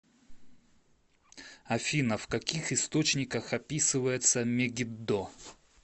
афина в каких источниках описывается мегиддо